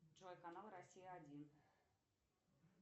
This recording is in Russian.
джой канал россия один